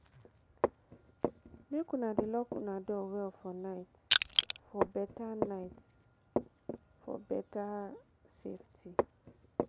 Make una dey lock una door well for night for better safety.